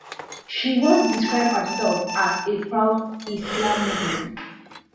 she once describe herself as a proud islamophobe